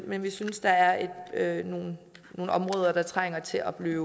men vi synes der er nogle områder der trænger til at blive